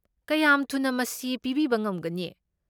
ꯀꯌꯥꯝ ꯊꯨꯅ ꯃꯁꯤ ꯄꯤꯕꯤꯕ ꯉꯝꯒꯅꯤ?